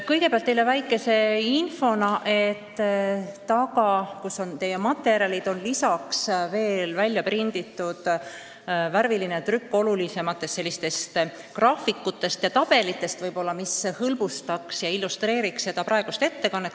Kõigepealt selline väike info, et saali tagaosas, kus on teie materjalid, on lisaks veel värvilisena välja prinditud olulisemad graafikud ja tabelid, mis võib-olla illustreeriksid minu ettekannet ja hõlbustaksid selle kuulamist.